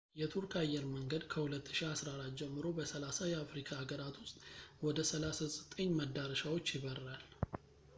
የቱርክ አየር መንገድ ከ2014 ጀምሮ በ30 የአፍሪካ ሃገራት ውስጥ ወደ 39 መዳረሻዎች ይበራል